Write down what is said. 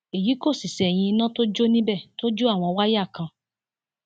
èyí kò sì ṣẹyìn iná tó jó níbẹ tó jó àwọn wáyà kan